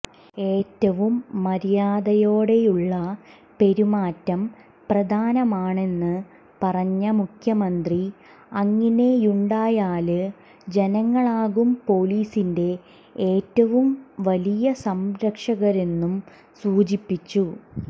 ഏറ്റവും മര്യാദയോടെയുള്ള പെരുമാറ്റം പ്രധാനമാണെന്ന് പറഞ്ഞ മുഖ്യമന്ത്രി അങ്ങിനെയുണ്ടായാല് ജനങ്ങളാകും പൊലീസിന്റെ ഏറ്റവും വലിയ സംരക്ഷകരെന്നും സൂചിപ്പിച്ചു